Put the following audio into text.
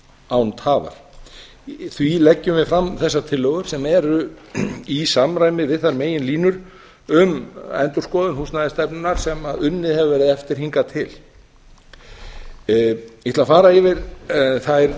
án tafar því leggjum við fram þessar tillögur sem eru í samræmi við þær megin línur um endurskoðun húsnæðisstefnunnar sem unnið hefur verið eftir hingað til ég ætla að fara yfir þær